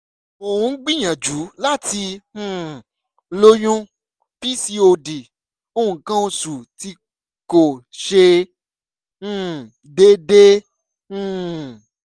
mo ń gbìyànjú láti um lóyún pcod nǹkan oṣù tí kò ṣe um déédéé um